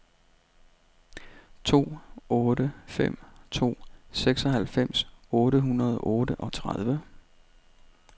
to otte fem to seksoghalvfems otte hundrede og otteogtredive